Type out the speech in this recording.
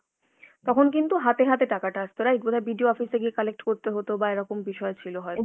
তখন কিন্তু হাতে হাতে টাকাটা আসতো, right? বোধ হয় BDO office এ গিয়ে collect করতে হতো বা এরকম বিষয় ছিল হয়তো।